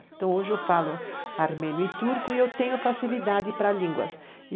Então, hoje eu falo armênio e turco e eu tenho facilidade para línguas.